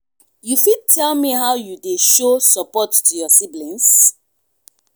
you fit tell me how you dey show support to your siblings?